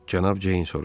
Cənab Ceyn soruşdu.